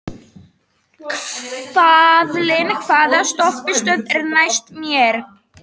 Kaðlín, hvaða stoppistöð er næst mér?